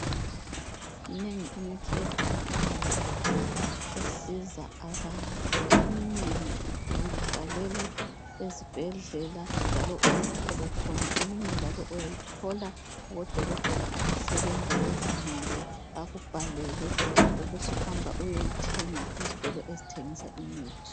Minengi imithi etholakalayo esiza abantu eminengi uyibhalelwa ezibhendlela njalo uyithole khona eminye njalo uyithola kubodokotela abasebenza bezimele bakubhalele ubusuhamba uyeyithenga ezitolo ezithengisa imithi.